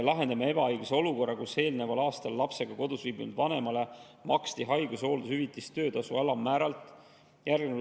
Lahendame ebaõiglase olukorra, kus eelneval aastal lapsega kodus viibinud vanemale makstakse haigus- ja hooldushüvitist töötasu alammäära järgi.